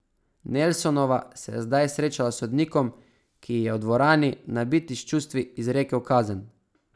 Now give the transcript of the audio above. Nelsonova se je zdaj srečala s sodnikom, ki ji je v dvorani, nabiti s čustvi, izrekel kazen.